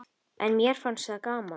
En mér fannst það gaman.